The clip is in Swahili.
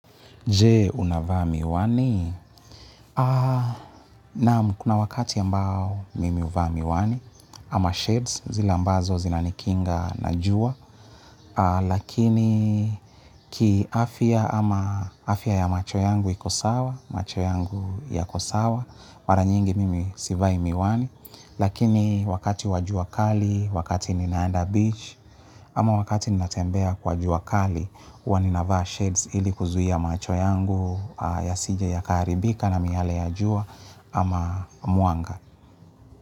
Jee, unavaa miwani? Naam, kuna wakati ambao mimi huvaa miwani ama shades, zile ambazo zinanikinga na jua. Lakini ki afya ama afya ya macho yangu iko sawa, macho yangu yako sawa, mara nyingi mimi sivai miwani, lakini wakati wa jua kali, wakati ninaanda beach, ama wakati ninatembea kwa jua kali, huwa ninavaa shades ili kuzuia macho yangu yasije yakaharibika na miale ya jua ama mwanga.